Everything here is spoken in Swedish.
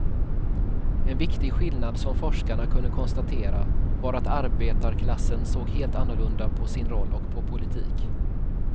En viktig skillnad som forskarna kunde konstatera var att arbetarklassen såg helt annorlunda på sin roll och på politik.